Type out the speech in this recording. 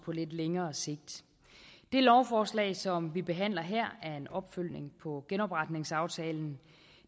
lidt længere sigt det lovforslag som vi behandler her er en opfølgning på genopretningsaftalen